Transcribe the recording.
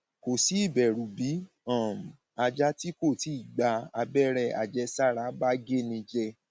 kò sí ìbẹrù bí um ajá tí kò tíì gba abẹrẹ àjẹsára bá géni jẹ